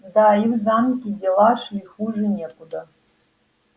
да и в замке дела шли хуже некуда